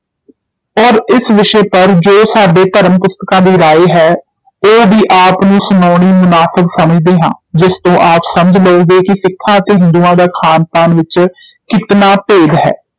ਔਰ ਇਸ ਵਿਸ਼ੇ ਪਰ ਜੋ ਸਾਡੇ ਧਰਮ ਪੁਸਤਕਾਂ ਦੀ ਰਾਏ ਹੈ, ਉਹ ਵੀ ਆਪ ਨੂੰ ਸੁਣਾਉਣੀ ਮੁਨਾਸਬ ਸਮਝਦੇ ਹਾਂ, ਜਿਸ ਤੋਂ ਆਪ ਸਮਝ ਲਓਗੇ ਕਿ ਸਿੱਖਾਂ ਅਤੇ ਹਿੰਦੂਆਂ ਦਾ ਖਾਨ ਪਾਨ ਵਿੱਚ ਕਿਤਨਾ ਭੇਦ ਹੈ।